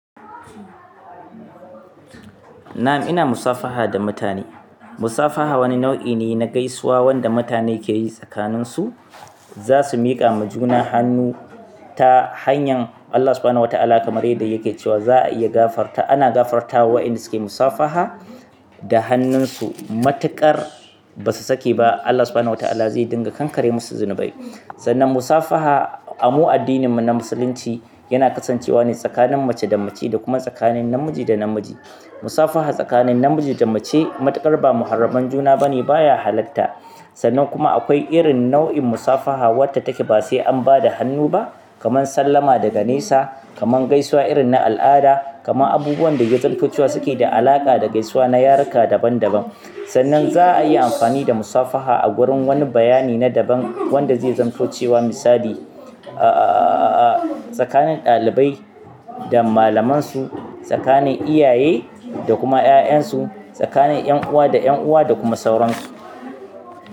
Na'am, ina musafaha da mutane. Musafaha wani nau'i ne na gaisuwa wanda mutane ke yi tsakaninsu. Za su miƙa ma juna hannu ta hanyan Allah Subhanahu wa Ta'ala kamar yadda yake cewa za a iya gafarta. Ana gafartawa wa ƴanda sukayi musafaha da hannunsu matuƙar ba su sake ba. Allah Subhanahu wa Ta'ala zai dinga kankare musu zunubai. Sannan musafaha a mu addininmu na Musulunci yana kasancewa ne tsakanin mace da mace da kuma tsakanin namiji da namiji. Musafaha tsakanin namiji da mace matuƙar ba muharraman juna bane, baya halatta. Sannan kuma akwai irin nau'in musafaha wadda take ba sai an bada hannu ba, kamar sallama daga nesa, kaman gaisuwa irin na al'ada, kamar abubuwan da ya zamto cewa suke da alaƙa da gaisuwa na yaruka daban-daban. Sannan za a iya amfani da musafaha a gurin wani bayani na daban wanda zai zamanto cewa misali, ahhhhh, tsakanin ɗalibai da malamansu, tsakanin iyaye da kuma ƴaƴan su, tsakanin ƴan uwa da ƴan uwa da kuma sauransu.